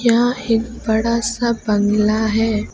यहां एक बड़ा सा बंगला है।